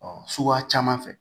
Ɔ suguya caman fɛ